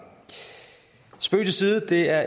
spøg til side det er